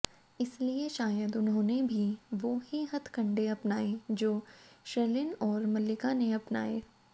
इसलिए शायद उन्होंने भी वो ही हथकंडे अपनाए जो शर्लिन और मल्लिका ने अपनाए